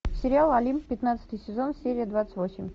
сериал олимп пятнадцатый сезон серия двадцать восемь